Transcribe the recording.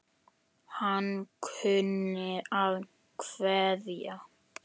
Hann kunni að kveðja.